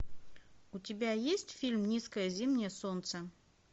у тебя есть фильм низкое зимнее солнце